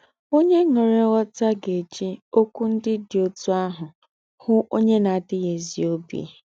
Onye nwere nghọta ga-eji okwu ndị dị otú ahụ hụ onye na-adịghị ezi obi.